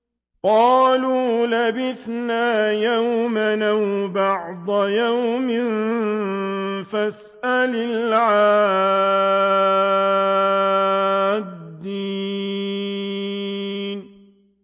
قَالُوا لَبِثْنَا يَوْمًا أَوْ بَعْضَ يَوْمٍ فَاسْأَلِ الْعَادِّينَ